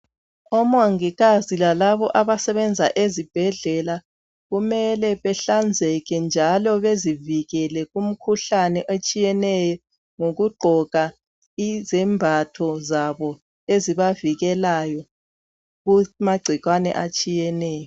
Omongikazi lalabo abasebenza ezibhedlela kumele behlanzeke njalo bezivikele kumkhuhlane etshiyeneyo ngokugqoka izembatho zabo ezibavikelayo kumagcikwane atshiyeneyo.